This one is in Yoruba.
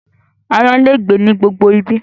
Aáyán lè gbé ní gbogbo ibi